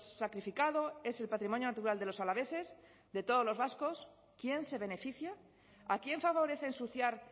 sacrificado es el patrimonio natural de los alaveses de todos los vascos quién se beneficia a quién favorece ensuciar